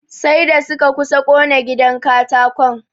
Sai da suka kusa ƙone gidan katakon.